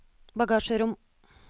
bagasjerom